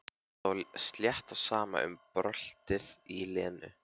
Stóð slétt á sama um bröltið í Lenu.